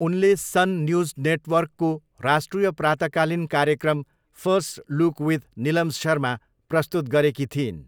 उनले Sun News नेटवर्कको राष्ट्रिय प्रातकालिन कार्यक्रम first look with Nilam Sharma प्रस्तुत गरेकी थिइन्।